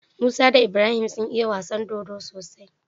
Musa da Ibrahim sun iya wasan dodo sosai